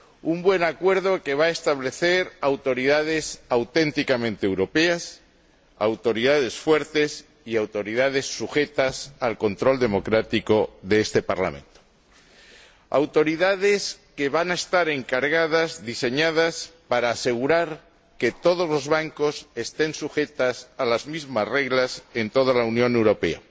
Un buen acuerdo que va a establecer autoridades auténticamente europeas, autoridades fuertes y autoridades sujetas al control democrático de este Parlamento autoridades que van a estar diseñadas para asegurar que todos los bancos estén sujetos a las mismas reglas en toda la Unión Europea,